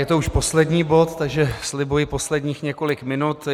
Je to už poslední bod, takže slibuji posledních několik minut.